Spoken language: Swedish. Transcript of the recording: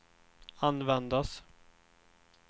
användas